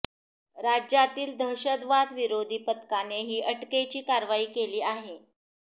राज्यातील दहशतवाद विरोधी पथकाने ही अटकेची कारवाई केली आहे